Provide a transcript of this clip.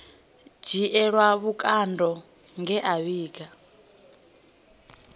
dzhielwa vhukando nge a vhiga